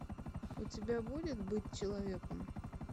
у тебя будет быть человеком